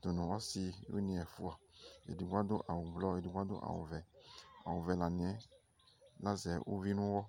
dʋ nʋ ɔsɩwɩnɩ ɛfʋa, edigbo adʋ awʋblɔ, edigbo adʋ awʋvɛ Awʋvɛ la nɩ yɛ lazɛ uvi nʋ ɔɣɔ